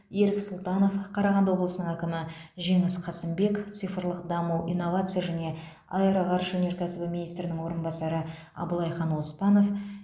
ерік сұлтанов қарағанды облысының әкімі жеңіс қасымбек цифрлық даму инновация және аэроғарыш өнеркәсібі министрінің орынбасары аблайхан оспанов